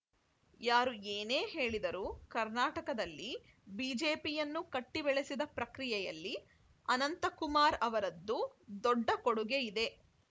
ಯಾರು ಏನೇ ಹೇಳಿದರೂ ಕರ್ನಾಟಕದಲ್ಲಿ ಬಿಜೆಪಿಯನ್ನು ಕಟ್ಟಿಬೆಳೆಸಿದ ಪ್ರಕ್ರಿಯೆಯಲ್ಲಿ ಅನಂತಕುಮಾರ್‌ ಅವರದ್ದು ದೊಡ್ಡ ಕೊಡುಗೆಯಿದೆ